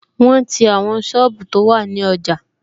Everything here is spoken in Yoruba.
Wọn ti àwọn sọ́ọ̀bù tó wà ní ọjà